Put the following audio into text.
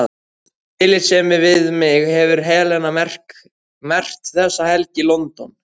Af tillitssemi við mig hefur Helena merkt þessa helgi: London